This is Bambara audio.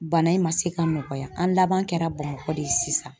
Bana in ma se ka nɔgɔya an laban kɛra Bamakɔ de ye sisan